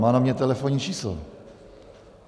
Má na mě telefonní číslo.